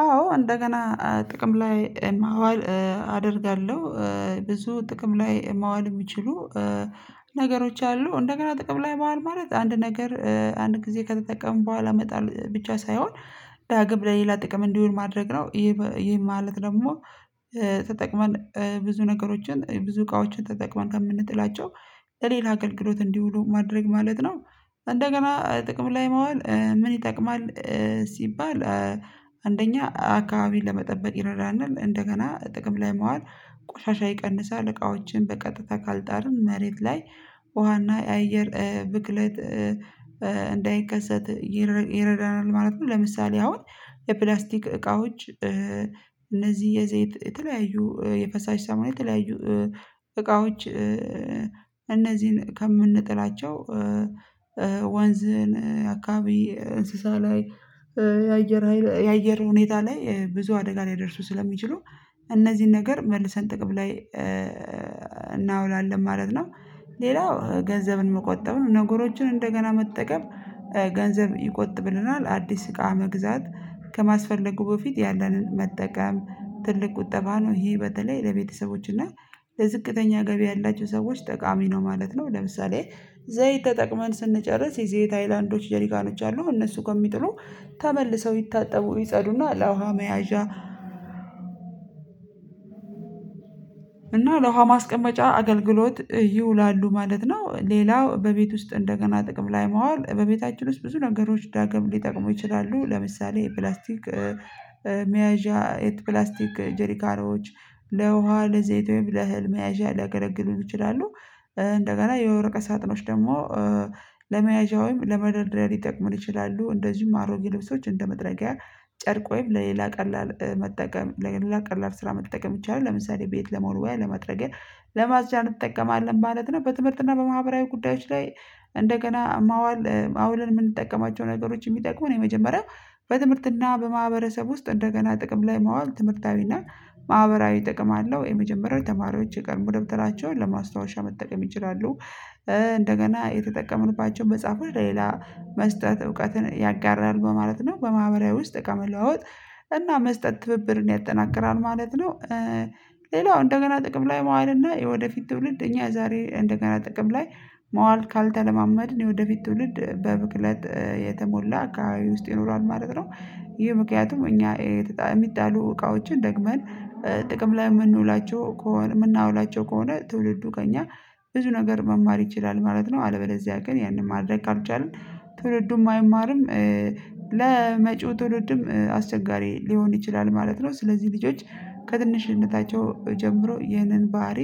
አዎ እንደገና ጥቅም ላይ ማዋል አደርጋለሁ። ብዙ ጥቅም ላይ ማዋል የሚችሉ ነገሮች አሉ። እንደገና ጥቅም ላይ ማዋል ማለት አንድ ነገር አንድ ጊዜ ከተጠቀምን በኋላ መጣል ብቻ ሳይሆን ዳግም ለሌላ ጥቅም እንዲሆን ማድረግ ነው። ይሄ ማለት ደግሞ ተጠቅመን ብዙ ነገሮችን ብዙ እቃዎችን ተጠቅመን ከምንጥላቸው ሌላ አገልግሎት እንዲውሉ ማድረግ ማለት ነው። እንደገና ጥቅም ላይ ማዋል ምን ይጠቅማል ሲባል አንደኛ አካባቢ ለመጠበቅ ይረዳናል እንደገና ጥቅም ላይ መዋል ቆሻሻ ይቀንሳል። እቃዎችን በቀጥታ ካልጣርን መሬት ላይ ውሃና አየር ብክለት እንዳይከሰት ይረዳናል ማለት ነው። ለምሳሌ አሁን የፕላስቲክ እቃዎች እነዚህ የዘይት የተለያዩ የፈሳሽ ሳሙና የተለያዩ እቃዎች እነዚህን ከምንጥላቸው ወንዝን አካባቢ እንስሳ ላይ የአየር ሀይል የአየር ሁኔታ ላይ ብዙ አደጋ ላይ ሊያደርሱ ስለሚችሉ እነዚህን ነገር መልሰን ጥቅም ላይ ማለት ነው። ሌላው ገንዘብን መቆጠብ ነው ነገሮችን እንደገና መጠቀም ገንዘብ ይቆጥብልናል። አዲስ እቃ መግዛት ከማስፈለጉ በፊት ያንን መጠቀም ትልቅ ቁጠባ ነው። ይሄ በተለይ ለቤተሰቦች እና ለዝቅተኛ ገቢ ያላቸው ሰዎች ጠቃሚ ነው ማለት ነው። ለምሳሌ ዘይት ተጠቅመን ስንጨርስ የዘይት አይላንዶች ጀርካኖች አሉ። እነሱ ከሚጥሉ ተመልሰው ይታጠቡ፣ ይጸዱና ለውሃ መያዣ እና ለውሃ ማስቀመጫ አገልግሎት ይውላሉ ማለት ነው። ሌላው በቤት ውስጥ እንደገና ጥቅም ላይ መዋል በቤታችን ውስጥ ብዙ ነገሮች ዳግም ሊጠቅሙ ይችላሉ። ለምሳሌ ፕላስቲክ መያዣ ፕላስቲክ ጄርካኖች ለውሃ፣ ለዘይት ወይም ለህልም፣ መያዣ ሊያገለግሉ ይችላሉ። እንደገና የወረቀ ሳጥኖች ደግሞ ለመያዣ ወይም ለመደርደሪያ ሊጠቅሙን ይችላሉ። እንደዚሁም አሮጌ ልብሶች እንደ መጥረጊያ ጨርቅ ወይም ለሌላ ቀላል መጠቀም ለሌላ ቀላል ስራ መጠቀም ይቻላል። ለምሳሌ ቤት ለመወልወያ፣ ለመጥረዲኢያ ለማጽጂያ እንጠቀማለን ማለት ነው። በትምህርትና በማህበራዊ ጉዳዮች ላይ እንደገና ማዋል አውልን የምንጠቀማቸው ነገሮች የሚጠቅሙን የመጀመሪያው በትምህርትና በማህበረሰብ ውስጥ እንደገና ጥቅም ላይ ማዋል ትምህርታዊና ማህበራዊ ጥቅም አለው። የመጀመሪያው ተማሪዎች የቀድሞ ደብተራቸውን ለማስታወሻ መጠቀም ይችላሉ። እንደገና የተጠቀምንባቸው መጽሐፉን ለሌላ መስጠት እውቀትን ያጋራል በማለት ነው። በማህበራዊ ውስጥ እቃ መለዋወጥ እና መስጠት ትብብርን ያጠናክራል ማለት ነው። ሌላው እንደገና ጥቅም ላይ መዋልና እና የወደፊት ትውልድ እኛ ዛሬ እንደገና ጥቅም ላይ መዋል ካልተለማመድን የወደፊት ትውልድ በብክለት የተሞላ አካባቢ ውስጥ ይኖረዋል ማለት ነው። ይህ ምክንያቱም እኛ የሚጣሉ እቃዎችን ደግመን ጥቅም ላይ የምንውላቸው ከሆነ የምናውላቸው ከሆነ ትውልዱ ከእኛ ብዙ ነገር መማር ይችላል ማለት ነው። አለበዚያ ግን ያንን ማድረግ ካልቻልን ትውልዱም አይማርም። ለመጪው ትውልድም አስቸጋሪ ሊሆን ይችላል ማለት ነው። ስለዚህ ልጆች ከትንሽነታቸው ጀምሮ ይህንን ባህሪ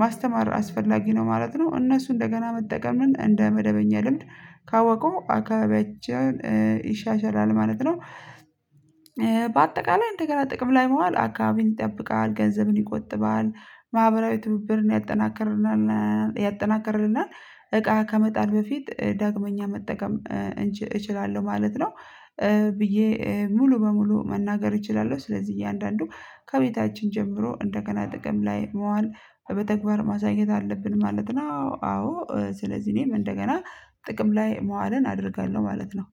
ማስተማር አስፈላጊ ነው ማለት ነው። እነሱ እንደገና መጠቀምን እንደ መደበኛ ልምድ ካወቁ አካባቢያችን ይሻሻላል ማለት ነው። በአጠቃላይ እንደገና ጥቅም ላይ መዋል አካባቢን ይጠብቃል፣ ገንዘብን ይቆጥባል፣ ማህበራዊ ትብብርን ያጠናከርናል፣ ያጠናከርልናል። እቃ ከመጣል በፊት ዳግመኛ መጠቀም እችላለሁ ማለት ነው። ብዬ ሙሉ በሙሉ መናገር እችላለሁ። ስለዚህ እያንዳንዱ ከቤታችን ጀምሮ እንደገና ጥቅም ላይ መዋል በተግባር ማሳየት አለብን ማለት ነው። አዎ፣ አዎ ስለዚህ እኔም እንደገና ጥቅም ላይ መዋልን አደርጋለሁ ማለት ነው።